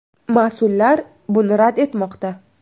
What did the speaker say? Mas’ullar buni rad etmoqda.